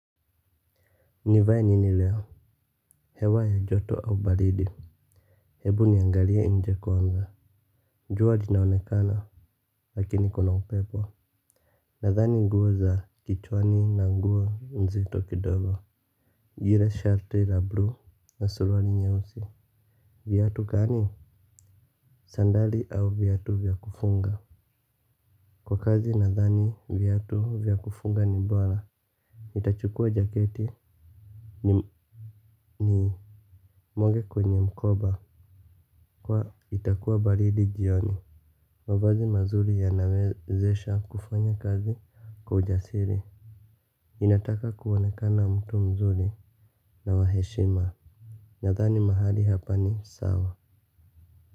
Nivae nini leo. Hewa ya joto au baridi. Hebu niangalie nje kwanza jua jinaonekana. Lakini kuna upepo. Nadhani nguo za kichwani na nguo nzito kidogo lile shati la bluu na suruali nyeusi. Viatu gani. Sandali au viatu vya kufunga. Kwa kazi nadhani viatu vya kufunga ni bora nitachukua jaketi ni, ni, mwage kwenye mkoba. Kwa itakuwa baridi jioni. Mavazi mazuri yanawezesha kufanya kazi kwa ujasiri. Ninataka kuonekana mtu mzuri na wa heshima. Nadhani mahali hapa ni sawa.